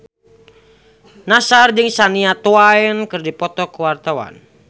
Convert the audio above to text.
Nassar jeung Shania Twain keur dipoto ku wartawan